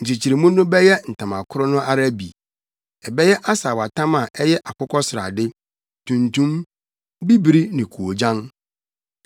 Nkyekyeremu no bɛyɛ ntama koro no ara bi. Ɛbɛyɛ asaawatam a ɛyɛ akokɔsrade, tuntum, bibiri ne koogyan.